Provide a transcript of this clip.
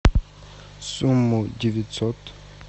сумму девятьсот